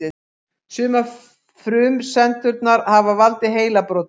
Sumar frumsendurnar hafa valdið heilabrotum.